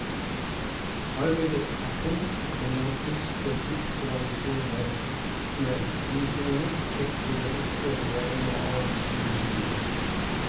Arbeidet er tungt, og det må muskler til for å håndtere ilskne grisunger, kjøttfulle okser og en og annen sur hingst.